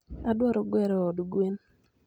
Adwaro gero od gwen